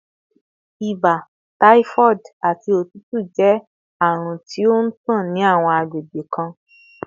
Ibà, typhoid, ati otutu jẹ awọn arun ti o ntan ni awọn agbegbe kan